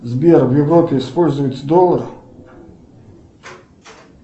сбер в европе используется доллар